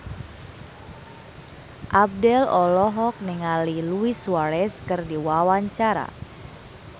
Abdel olohok ningali Luis Suarez keur diwawancara